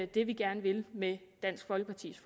det vi gerne vil med dansk folkepartis